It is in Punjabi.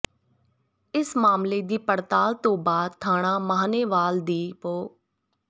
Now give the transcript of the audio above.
ਇਸ ਮਾਮਲੇ ਦੀ ਪੜਤਾਲ ਤੋਂ ਬਾਅਦ ਥਾਣਾ ਸਾਹਨੇਵਾਲ ਦੀ ਪੁ